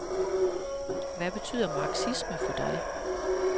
Hvad betyder marxisme for dig?